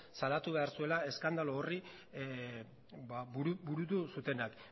salatu behar zuela eskandalu horri burutu zutenak